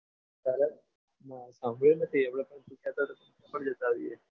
સાંભળ્યું નથી આપણે પણ જતા આવીએ.